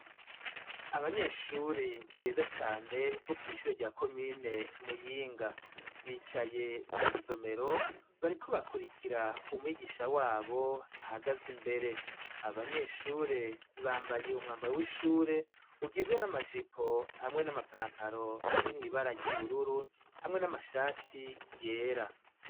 Abanyeshuri beza cane bo kw'ishure rya komine Muyinga, bicaye mw'isomero bariko bakurikira umwigisha wabo ahagaze imbere ,abanyeshure bambaye umwambaro w'ishure ugizwe n'amajipo hamwe n'amapantaro ari mw'ibara ry'ubururu hamwe n'amashati yera.